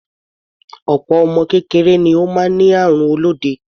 Opo ọmọ kékeré ni ó máa ń ní àrùn olóde.